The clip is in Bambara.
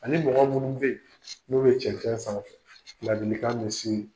Ani mɔgɔ minnu be yen, n'o ye cɛnɛn sanfɛ, ladilikan bɛ se